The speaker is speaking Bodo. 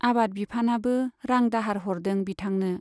आबाद बिफानाबो रां दाहार हरदों बिथांनो।